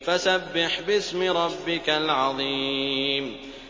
فَسَبِّحْ بِاسْمِ رَبِّكَ الْعَظِيمِ